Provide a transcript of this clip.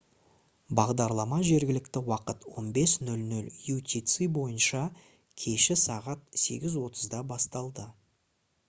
бағдарлама жергілікті уақыт 15.00 utc бойынша кеші сағат 8:30-да басталды